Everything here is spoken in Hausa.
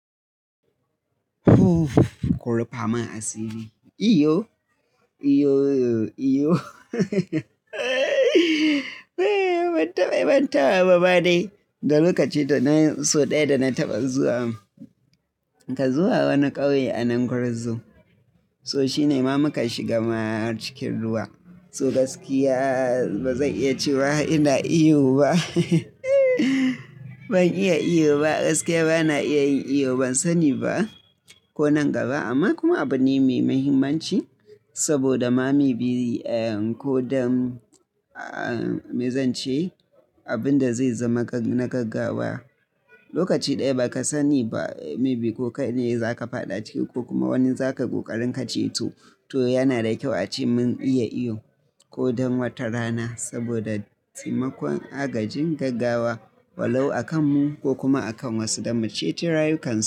Ku ruffa mun asiri. Iyo? Iyo, iyo. Ban taɓa yi ban tawa ba dai, da lokaci da na so ɗaya da na taɓa zuwa, ka zuwa wani ƙauye a nan Gwarzo. So shine ma muka shiga mahar cikin ruwa. So gaskiya ba zan iya cewa ina iyo ba. Ban iya iyo ba, gaskiya ba na iya yin iyo. Ban sani ba ko nan gaba amma kuma abu ne mai mahimmanci saboda ma maybe ko don, me zan ce, abin da zai zama na gaggawa. Lokaci ɗaya ba ka sani ba maybe ko kai ne za ka faɗa ciki ko kuma wani za ka ƙoƙarin ka ceto. To yana da kyau ace mun iya iyo ko don wata rana saboda taimakon agajin gaggawa walau a kan mu ko kuma a kan wasu da mu ce ci rayukan su.